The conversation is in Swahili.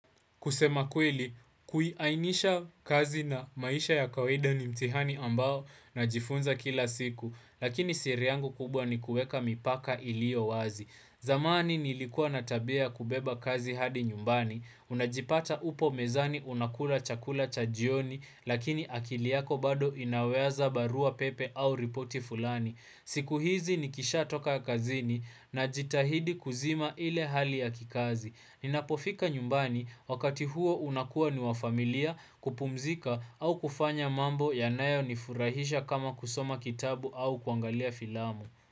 Kusema kweli, kuiainisha kazi na maisha ya kawaida ni mtihani ambao najifunza kila siku, lakini siri yangu kubwa ni kuweka mipaka iliyo wazi. Zamani nilikua na tabia ya kubeba kazi hadi nyumbani, unajipata upo mezani unakula chakula cha jioni, lakini akili yako bado inawaza barua pepe au ripoti fulani. Siku hizi nikishatoka ya kazini najitahidi kuzima ile hali ya kikazi. Ninapofika nyumbani, wakati huo unakuwa ni wafamilia kupumzika au kufanya mambo yanayo nifurahisha kama kusoma kitabu au kuangalia filamu.